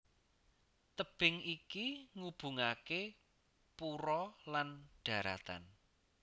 Tebing iki ngubungaké pura lan dharatan